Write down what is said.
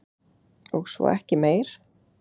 Og svo ekki meir.